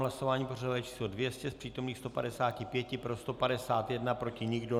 Hlasování pořadové číslo 200, z přítomných 155, pro 151, proti nikdo.